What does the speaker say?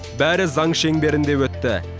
бәрі заң шеңберінде өтті